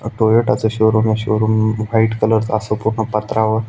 अ Toyota चं showroom ए showroom अ व्हाइट कलर च असं पूर्ण पत्रा व--